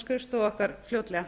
skrifstofu okkar fljótlega